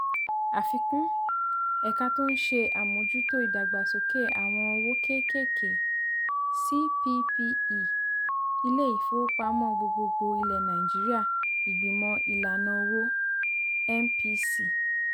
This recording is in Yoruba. àfikún :èka tó ń ṣe àmójútó ìdàgbàsókè àwọn òwò kéékèèké (cppe) ilé ìfowópamọ́ gbogbogbòò ilẹ̀ nàìjíríà ìgbìmò ìlànà owó (mpc)